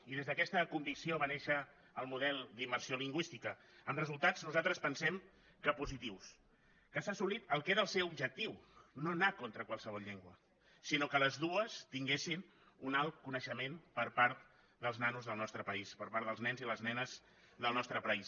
i des d’aquesta convicció va néixer el model d’immersió lingüística amb resultats nosaltres pensem que positius que s’ha assolit el que era el seu objectiu no anar contra qualsevol llengua sinó que les dues tinguessin un alt coneixement per part dels nanos del nostre país per part dels nens i les nenes del nostre país